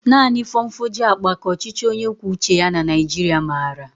Naanị fonfoju akpa ka ọchịchị onye kwuo uche ya na Naijiria maara